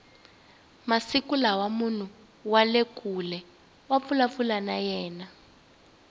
masiku lawa munhu wale kule wa vulavula na yena